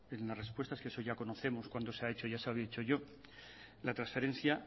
en las respuestas que eso ya conocemos cuando se ha hecho ya lo he dicho yo la transferencia